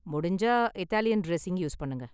முடிஞ்சா, Italian dressing use பண்ணுங்க.